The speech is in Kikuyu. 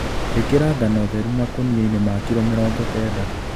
Ĩkĩra ngano theru makũniainĩ ma kilo mĩrongo kenda